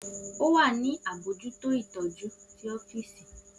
O wa ni abojuto itọju ti ọfiisi.